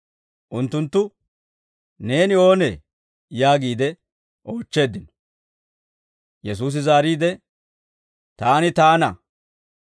Unttunttu, «Neeni oonee?» yaagiide oochcheeddino. Yesuusi zaariide, «Taani Taana.